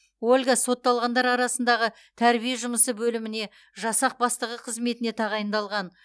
ольга сотталғандар арасындағы тәрбие жұмысы бөліміне жасақ бастығы қызметіне тағайындалған